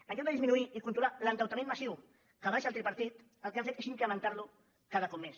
en lloc de disminuir i controlar l’endeutament massiu que va deixar el tripartit el que han fet és incrementar lo cada cop més